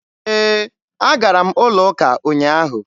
E, a gara m ụlọ ụka ụnyaahụ.